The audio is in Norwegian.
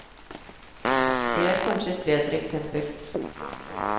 Det er kanskje et bedre eksempel.